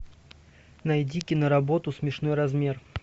найди киноработу смешной размер